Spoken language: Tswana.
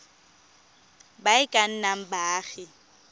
ba e ka nnang baagi